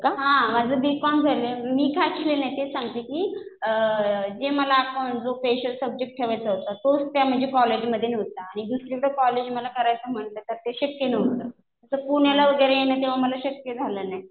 हा माझं B. Com झालंय. मी का शिकले नाही, मी तेच सांगतेय कि जे मला अकाउंट जो स्पेशल सब्जेक्ट ठेवायचा होता तोच त्या म्हणजे कॉलेजमध्ये नव्हता. आणि दुसरीकडे कॉलेज मला करायचं म्हणलं तर ते शक्य नव्हतं. तर पुण्याला वगैरे तेव्हा मला शक्य झालं नाही.